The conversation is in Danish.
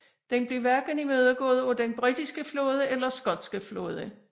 Den blev hverken imødegået af den britiske flåde eller skotske flåde